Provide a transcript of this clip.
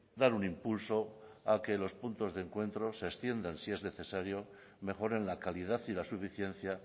dar un impulso a que los puntos de encuentro se extiendan si es necesario mejoren la calidad y la suficiencia